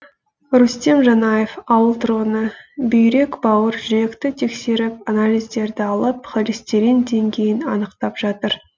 рүстем жанаев ауыл тұрғыны бүйрек бауыр жүректі тексеріп анализдерді алып холестерин деңгейін анықтап жатыр